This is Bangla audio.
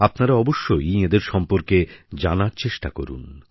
আপনারা অবশ্যই এঁদের সম্পর্কে জানার চেষ্টা করুন